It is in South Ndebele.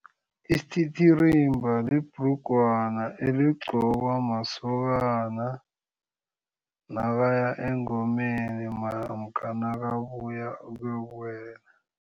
Isititirimba libhrugwana eligqokwa masokana nakaya engomeni namkha nakabuya ukuyokuwela.